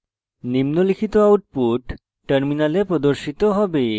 নিম্নলিখিত output terminal প্রদর্শিত হবে